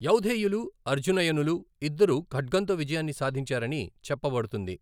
యౌధేయులు, అర్జునయనులు ఇద్దరూ ఖడ్గంతో విజయాన్ని సాధించారని చెప్పబడుతుంది.